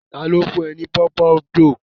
Ta ló fún ẹ ní pòpondò?